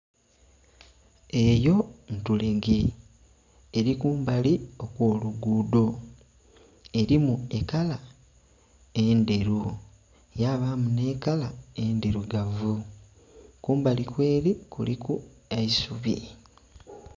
Eyo ntulege, eli kumbali okwoluguudho. Elimu ekala endheru yabaamu nh'ekala endhilugavu, kumbalikweli kuliku eisubi.